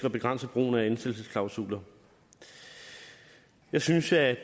at begrænse brugen af ansættelsesklausuler jeg synes at